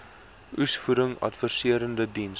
oesvoeding adviserende diens